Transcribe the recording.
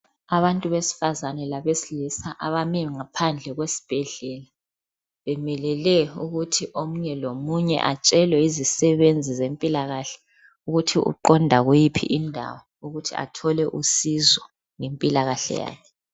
Abantu besifazana labesilisa abame ngaphandle kwesibhedlela. Bemelele ukuthi omunye lomunye atshelwe yizisebenzi zempilakahle ukuthi uqonda kuyiphi indawo ukuthi athole usizo ngempilakahle yakhe